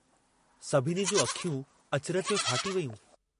सभिनी जूं अखियूं अचरज में फाटी वेयूं।